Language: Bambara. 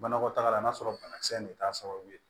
Banakɔtaga la n'a sɔrɔ banakisɛ in de t'a sababu ye